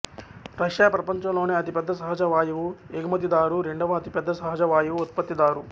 Russia ప్రపంచంలోనే అతిపెద్ద సహజ వాయువు ఎగుమతిదారు రెండవ అతిపెద్ద సహజ వాయువు ఉత్పత్తిదారు